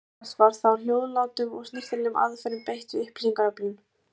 Langoftast var þó hljóðlátum og snyrtilegum aðferðum beitt við upplýsingaöflun.